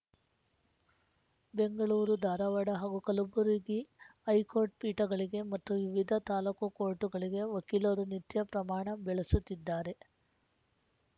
ಬೆಂಗಳೂರು ಧಾರವಾಡ ಹಾಗೂ ಕಲಬುರಗಿ ಹೈಕೋರ್ಟ್‌ ಪೀಠಗಳಿಗೆ ಮತ್ತು ವಿವಿಧ ತಾಲೂಕು ಕೋರ್ಟ್‌ಗಳಿಗೆ ವಕೀಲರು ನಿತ್ಯ ಪ್ರಮಾಣ ಬೆಳಸುತ್ತಿದ್ದಾರೆ